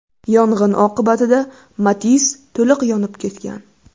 Yong‘in oqibatida Matiz to‘liq yonib ketgan.